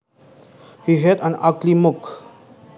He had an ugly mug